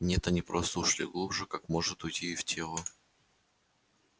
нет они просто ушли глубже как может уйти в тело